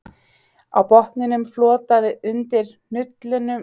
Á botninum flotaði undir hnullunga sem minntu hann á mannshöfuð.